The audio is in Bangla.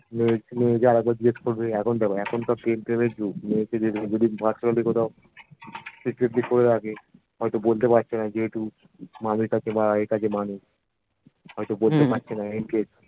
আরেকবার জিজ্ঞেস করবে এখন দেখো এখন তাও প্রেম প্রেমের যুগ মেয়েকে এদিকে ওদিক personally কোথাও সীকৃতি করে রাখে হয়তো বলতে পারছে না যেহেতু মামীর কাছে বা এর কাছে মা নেই হয়তো বলতে পারছেনা incase